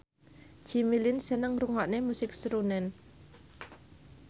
Jimmy Lin seneng ngrungokne musik srunen